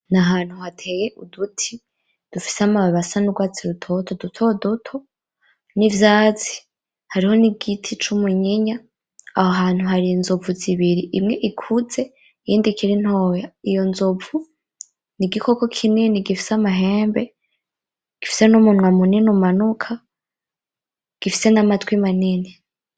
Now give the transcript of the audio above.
N'ahantu hateye uduti ,dufise amababi asa n'urwatsi ,dutoduto n'ivyatsi. Hariho n'igiti c'umunyinya, aho hantu har'Inzovu zibiri , imwe ikuze iyindi ikiri ntoya ,iyo Nzovu n'igikoko kinini gifise amahembe gifise n'umunwa munini umanuka gifise n'amatwi manini.